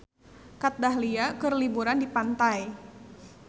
Kat Dahlia keur liburan di pantai